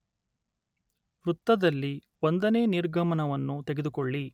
ವೃತ್ತದಲ್ಲಿ, ಒಂದನೇ ನಿರ್ಗಮನವನ್ನು ತೆಗೆದುಕೊಳ್ಳಿ